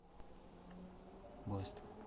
бэст